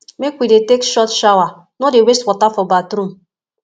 make we dey take short shower no dey waste water for bathroom